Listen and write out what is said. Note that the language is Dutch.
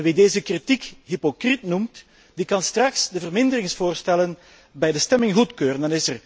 Wie deze kritiek hypocriet noemt, die kan straks de verminderingsvoorstellen bij de stemming goedkeuren.